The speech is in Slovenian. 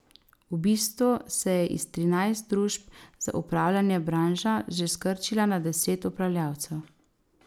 V bistvu se je iz trinajst družb za upravljanje branža že skrčila na deset upravljavcev.